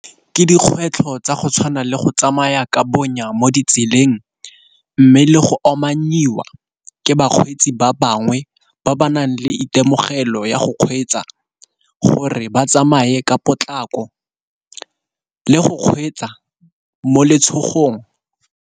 Ke dikgwetlho tsa go tshwana le go tsamaya ka bonya mo ditseleng, mme le go omanyiwa ke bakgweetsi ba bangwe ba ba nang le itemogelo ya go kgweetsa gore ba tsamaye ka potlako le go kgweetsa mo letshogong.